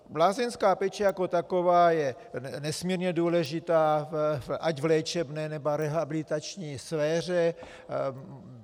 Lázeňská péče jako taková je nesmírně důležitá, ať v léčebné, nebo rehabilitační sféře.